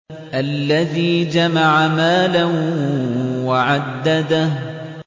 الَّذِي جَمَعَ مَالًا وَعَدَّدَهُ